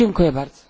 Dziękuję bardzo.